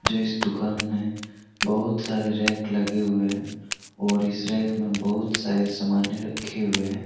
जो इस दुकान में बहुत सारे रैक लगे हुए हैं और इस रैक में बहुत सारे सामान्य रखे हुए हैं।